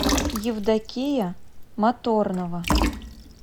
евдокия моторнова